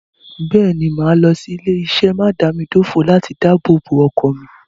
Bẹ́ẹ̀ ni, màá lọ sí ilé-iṣé mádàámidòfò láti dábòbò ọkọ̀ mi.